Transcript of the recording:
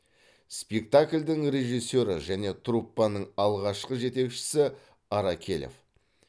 спектакльдің режиссері және труппаның алғашқы жетекшісі аракелов